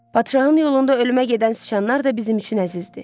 Padşahın yolunda ölümə gedən siçanlar da bizim üçün əzizdir.